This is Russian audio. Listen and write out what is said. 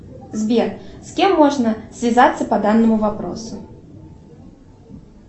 сбер с кем можно связаться по данному вопросу